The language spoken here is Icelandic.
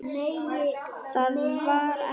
Það var ekkert.